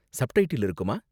Subtitle இருக்குமா?